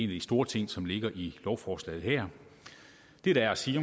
de store ting som ligger i lovforslaget her det der er at sige